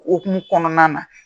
okumun kɔnɔna na